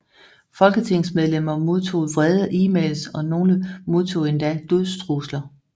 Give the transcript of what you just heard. Folketingsmedlemmer modtog vrede emails og nogle modtog endda dødstrusler